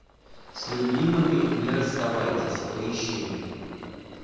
с любимыми не расставайтесь поищи